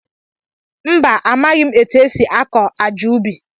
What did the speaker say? Mba, amaghị m etu e si akọ àjà ubi